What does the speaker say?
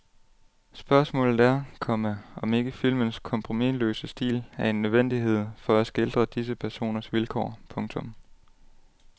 Spørgsmålet er, komma om ikke filmens kompromisløse stil er en nødvendighed for at skildre disse personers vilkår. punktum